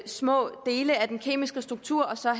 små dele af den kemiske struktur og så